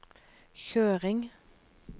kjøring